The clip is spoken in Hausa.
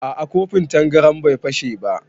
A'a kofin tangaran bai fashe ba